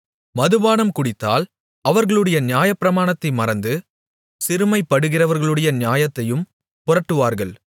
மதுபானம் குடித்தால் அவர்களுடைய நியாயப்பிரமாணத்தை மறந்து சிறுமைப்படுகிறவர்களுடைய நியாயத்தையும் புரட்டுவார்கள்